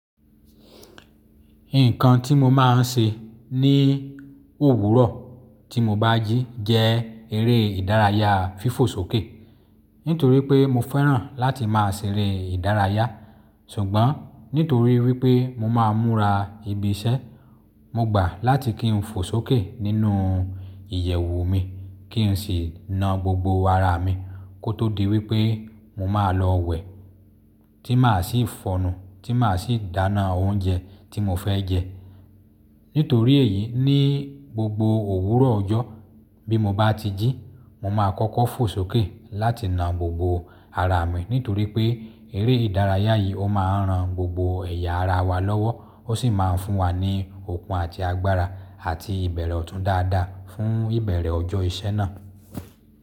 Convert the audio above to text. Ikan tí mo máa ń ṣe ní òwúrọ̀ tí mo bá jí jẹ́ eré ìdárayá fífò sókè. Nítorí pé mo fẹ́ràn láti máa ṣeré ìdárayá, ṣùgbọ́n nítorí wípé mo máa ń múra ibi iṣẹ́, mo gbà láti kí n fò sókè nínú ìyẹ̀wù mi, kí n sì na gbogbo ara mi kó tó di wípé mo máa lọ wẹ̀ tí màá sì fọ nu, tí màá sì dáná oúnjẹ tí mo fẹ́ jẹ. Nítorí èyí, ní gbogbo òwúrọ̀ ọjọ́ bí mo bá ti jí, mo máa kọ́kọ́ fò sókè láti na gbogbo ara mi. Nítorí pé eré ìdárayá yìí ó máa ń ran gbogbo ẹ̀yà ara wa lọ́wọ́, ó sì máa ń fún wa ní okun àti agbára àti ìbẹ̀rẹ̀ ọ̀tún dáadáa fún ìbẹ̀rẹ̀ ọjọ́ iṣẹ́ náà.